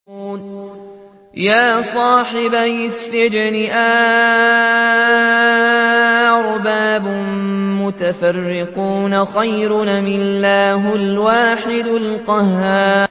يَا صَاحِبَيِ السِّجْنِ أَأَرْبَابٌ مُّتَفَرِّقُونَ خَيْرٌ أَمِ اللَّهُ الْوَاحِدُ الْقَهَّارُ